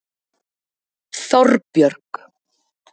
Þorbjörg